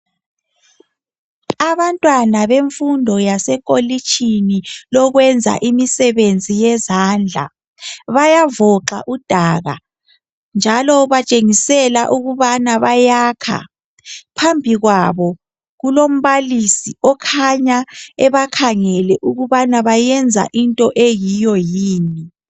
Abantwana bemfundo yasekolishini lokwenza imisebenzi yezandla , bayavoxa udaka njalo batshengisela ukubana bayakha , phambi kwabo kulombalisi okhanya ebakhangele ukubana bayenza into eyiyo yini